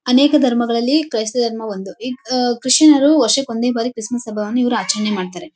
ಅನೇಕ ಧರ್ಮಗಳಲ್ಲಿ ಕ್ರೈಸ್ತ ಧರ್ಮವು ಒಂದು ಈ ಹ್ ಕ್ರಿಶ್ಚಿಯನ್ ರು ವರ್ಷಕ್ಕೆ ಒಂದೇ ಬರಿ ಕ್ರಿಸ್ಮಸ್ ಹಬ್ಬವನ್ನು ಇವರು ಆಚರಣೆ ಮಾಡ್ತಾರೆ .